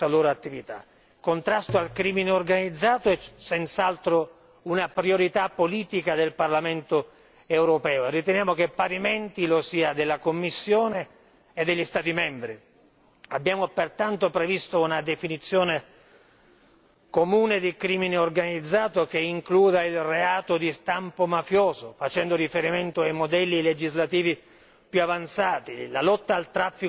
Il contrasto del crimine organizzato è senz'altro una priorità politica del Parlamento europeo e riteniamo che parimenti lo sia della Commissione e degli Stati membri abbiamo pertanto previsto una definizione comune di crimine organizzato che includa il reato di stampo mafioso, facendo riferimento ai modelli legislativi più avanzati, la lotta al traffico degli esseri umani.